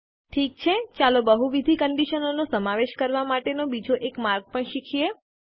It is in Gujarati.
ઠીક છે ચાલો બહુવિધ કંડીશનો નો સમાવેશ કરવા માટે નો બીજો એક માર્ગ પણ શીખીએ